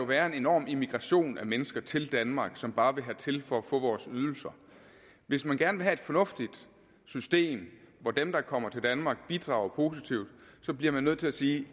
være en enorm immigration af mennesker til danmark som bare ville hertil for at få vores ydelser hvis man gerne vil have fornuftigt system hvor dem der kommer til danmark bidrager positivt bliver man nødt til sige